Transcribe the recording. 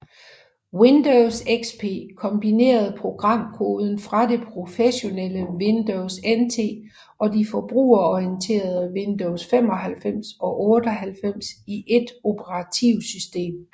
Windows XP kombinerede programkoden fra det professionelle Windows NT og de forbrugerorienterede Windows 95 og 98 i ét operativsystem